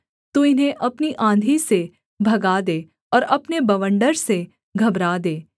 तू इन्हें अपनी आँधी से भगा दे और अपने बवंडर से घबरा दे